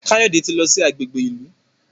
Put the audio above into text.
Kayode tí lọ sí agbègbè ìlú